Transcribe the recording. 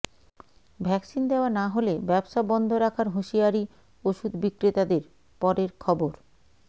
vaccine দেওয়া না হলে ব্যবসা বন্ধ রাখার হুঁশিয়ারি ওষুধ বিক্রেতাদের পরের খবর